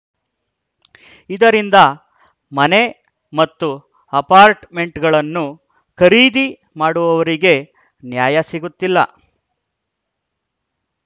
ಇದರಿಂದ ಮನೆ ಮತ್ತು ಅಪಾರ್ಟ್‌ಮೆಂಟ್‌ಗಳನ್ನು ಖರೀದಿ ಮಾಡುವವರಿಗೆ ನ್ಯಾಯ ಸಿಗುತ್ತಿಲ್ಲ